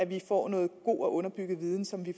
vi får noget god og underbygget viden som vi